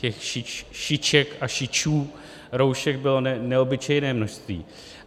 Těch šiček a šičů roušek bylo neobyčejné množství.